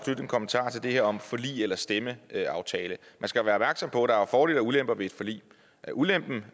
en kommentar til det her om forlig eller stemmeaftale man skal være opmærksom på at der er fordele og ulemper ved et forlig ulempen